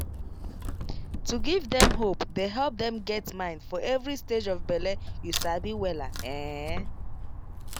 to give dem hope dey help dem get mind for every stage of bele you sabi wella ehn